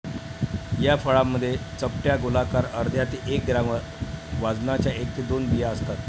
या फळांमध्ये चपट्या, गोलाकार, अर्ध्या ते एक ग्राम वाजनाच्या एक ते दोन बिया असतात.